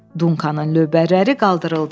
Dankanın lövbərləri qaldırıldı.